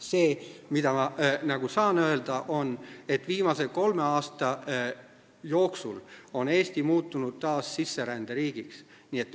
See, mida ma saan öelda, on, et viimase kolme aasta jooksul on Eesti muutunud taas sisseränderiigiks.